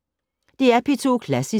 DR P2 Klassisk